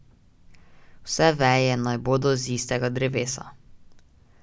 Vse veje naj bodo z istega drevesa.